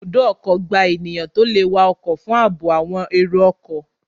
Ibùdó ọkọ̀ gba ènìyàn tó le wa ọkọ̀ fún àbò àwọn èrò ọkọ̀